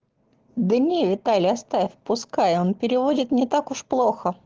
да нет виталя оставь пускай он переводит не так уж плохо